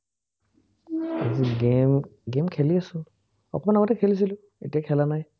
game game খেলি আছো। অকণমান আগতে খেলিছিলো। এতিয়া খেলা নাই।